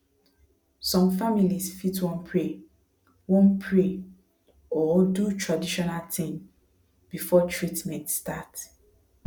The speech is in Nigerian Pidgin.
some families fit wan pray wan pray or do traditional thing before treatment start